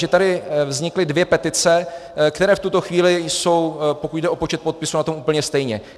Že tady vznikly dvě petice, které v tuto chvíli jsou, pokud jde o počet podpisů, na tom úplně stejně.